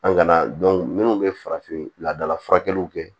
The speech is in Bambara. An kana minnu bɛ farafin ladala furakɛliw kɛ